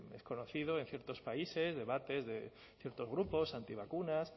es conocido en ciertos países debates de ciertos grupos antivacunas